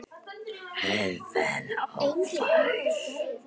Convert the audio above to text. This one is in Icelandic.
Heiðin ófær?